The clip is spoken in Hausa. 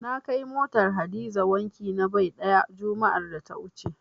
Na kai motar Hadiza wanki na bai ɗaya, juma'ar da ta wuce.